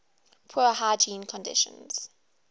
poor hygiene conditions